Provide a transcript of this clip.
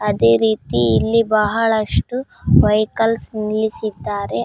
ಅದೇ ರೀತಿ ಇಲ್ಲಿ ಬಹಳಷ್ಟು ವೆಹಿಕಲ್ಸ್ ನಿಲ್ಲಿಸಿದ್ದಾರೆ.